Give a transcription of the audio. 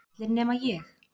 Allir nema ég.